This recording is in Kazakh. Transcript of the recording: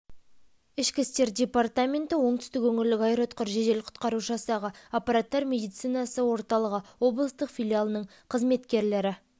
ішкі істер департаменті оңтүстік өңірлік аэроұтқыр жедел құтқару жасағы апаттар медицинасы орталығы облыстық филиалының қызметкерлері